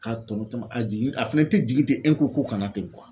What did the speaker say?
Ka tɔnɔ tɔnɔ a jigin a fɛnɛ tɛ jigin ten ko kana ten .